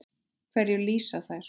Hverju lýsa þær?